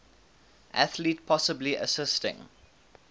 athlete possibly assisting